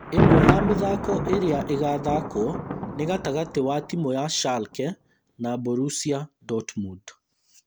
Ĩmwe ya mĩthako ĩrĩa ĩgathakwo nĩ gatagatĩ wa timũ ya Schalke na Borussia Dortmund.